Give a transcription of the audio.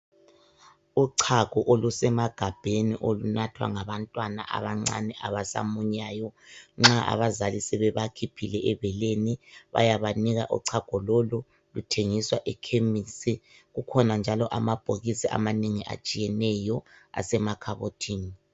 Uchago olusemagabheni olunathwa ngabantwana abancane abasamunyayo . Nxa abazali sebeba khiphile ebeleni bayabanika uchago lolu. Luthengiswa ekhemisi kukhona njalo amabhokisi amanengi atshiyeneyo asemakhabothini.